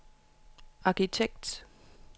arkitekt